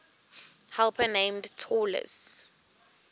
helper named talus